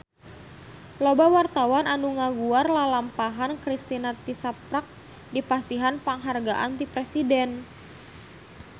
Loba wartawan anu ngaguar lalampahan Kristina tisaprak dipasihan panghargaan ti Presiden